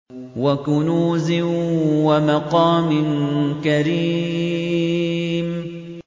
وَكُنُوزٍ وَمَقَامٍ كَرِيمٍ